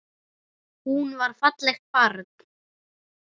Hún var fallegt barn.